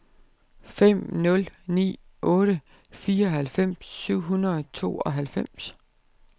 fem nul ni otte fireoghalvfems syv hundrede og tooghalvfems